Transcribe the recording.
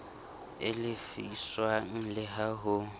e lefiswang le ha ho